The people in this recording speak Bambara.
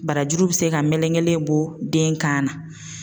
Barajuru bɛ se ka melekelen bɔ den kan na.